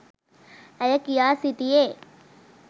ඇය කියා සිටියේ.